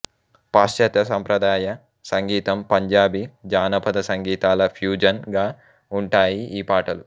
పాశ్చాత్య సంప్రదాయ సంగీతం పంజాబీ జానపద సంగీతాల ఫ్యూజన్ గా ఉంటాయి ఈ పాటలు